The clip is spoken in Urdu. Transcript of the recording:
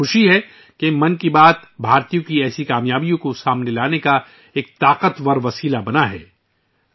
مجھے خوشی ہے کہ 'من کی بات' بھارتیوں کی ایسی کامیابیوں کو اجاگر کرنے کا ایک طاقتور ذریعہ بن گیا ہے